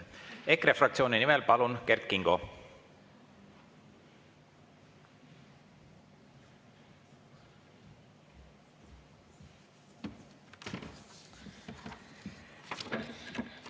EKRE fraktsiooni nimel, palun, Kert Kingo!